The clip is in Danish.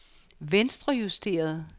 venstrejusteret